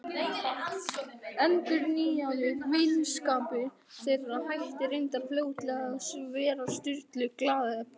Endurnýjaður vinskapur þeirra hætti reyndar fljótlega að vera Sturlu gleðiefni.